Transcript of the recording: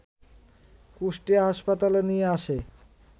কুষ্টিয়া হাসপাতালে নিয়ে আসে